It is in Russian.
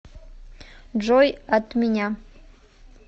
джой от меня